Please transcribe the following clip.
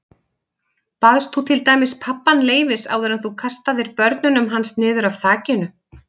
Baðst þú til dæmis pabbann leyfis áður en þú kastaðir börnunum hans niður af þakinu?